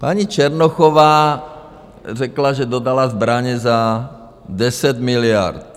Paní Černochová řekla, že dodala zbraně za 10 miliard.